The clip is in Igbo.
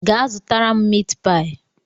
Gaa zụtara m miit paayi!